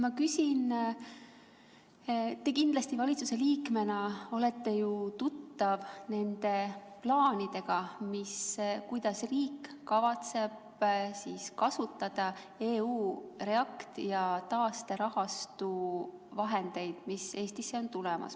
Te kindlasti olete valitsuse liikmena tuttav plaanidega, kuidas riik kavatseb kasutada REACT-EU ja taasterahastu vahendeid, mis Eestisse on tulemas.